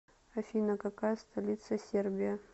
афина какая столица сербия